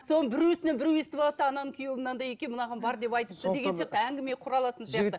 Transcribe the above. соның біреуісінен біреуі естіп алады да ананың күйеуі мынандай екен мынаған бар деп айтыпты деген сияқты әңгіме құралатын сияқты